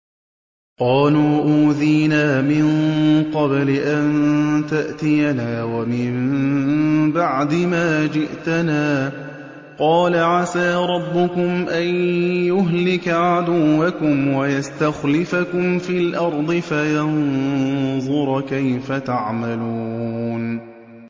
قَالُوا أُوذِينَا مِن قَبْلِ أَن تَأْتِيَنَا وَمِن بَعْدِ مَا جِئْتَنَا ۚ قَالَ عَسَىٰ رَبُّكُمْ أَن يُهْلِكَ عَدُوَّكُمْ وَيَسْتَخْلِفَكُمْ فِي الْأَرْضِ فَيَنظُرَ كَيْفَ تَعْمَلُونَ